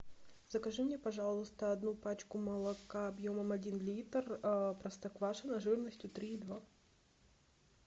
закажи мне пожалуйста одну пачку молока объемом один литр простоквашино жирностью три и два